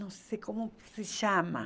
Não sei como se chama.